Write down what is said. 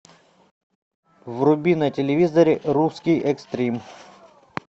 вруби на телевизоре русский экстрим